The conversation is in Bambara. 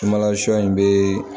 Sumala sɔ in bɛ